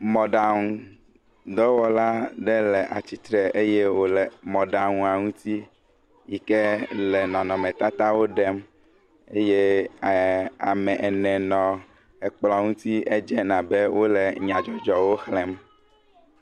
Mɔɖanudɔwɔla aɖe le atitre eye wole mɔɖanua ŋti yike le nɔnɔmetatawo ɖem eye ame ene nɔ kplɔ ŋti edze abe wole nyadzɔdzɔwo xlẽm